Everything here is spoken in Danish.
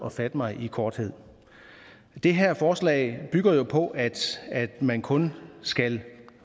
at fatte mig i korthed det her forslag bygger jo på at man kun skal